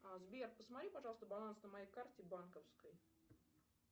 сбер посмотри пожалуйста баланс на моей карте банковской